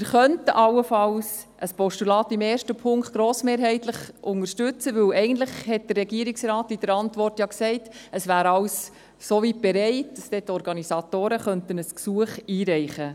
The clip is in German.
Wir könnten allenfalls ein Postulat im ersten Punkt grossmehrheitlich unterstützen, weil der Regierungsrat in der Antwort ja eigentlich gesagt hat, es wäre alles so weit bereit, wenn die Organisatoren ein Gesuch einreichen.